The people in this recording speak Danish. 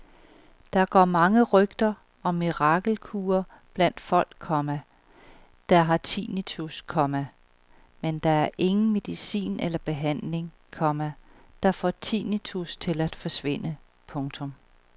Der går mange rygter om mirakelkure blandt folk, komma der har tinnitus, komma men der er ingen medicin eller behandling, komma der får tinnitus til at forsvinde. punktum